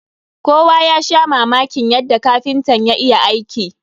Kowa ya sha mamakin yadda kapintan ya iya aiki.